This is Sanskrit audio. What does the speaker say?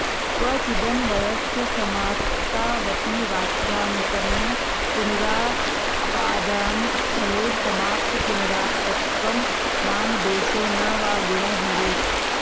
क्वचिदन्वयस्य समाप्तावपि वाक्यान्तरेण पुनरुपादानस्थले समाप्तपुनरात्तत्वं नाम दोषो न वा गुणो भवेत्